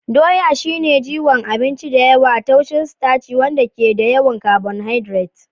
Doya shine jigon abinci da yawa, tushen sitaci wanda ke da yawan carbohydrates.